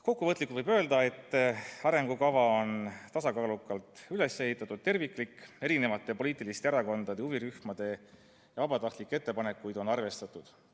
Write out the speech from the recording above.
Kokkuvõtlikult võib öelda, et arengukava on tasakaalukalt üles ehitatud ja terviklik, poliitiliste erakondade, huvirühmade ja vabatahtlike ettepanekuid on arvestatud.